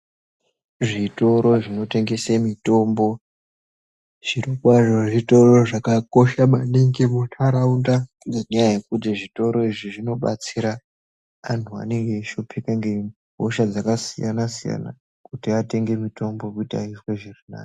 Zvitoro zvinotengeswa mitombo zviro kwazvo zvitoro zvakakosha maningi mundaraunda ngenda yekuti zvitoro izvi zvinobatsira vantu vanenge veishupika nehosha dzakasiyana siyana atenge mitombo aite zvakanaka.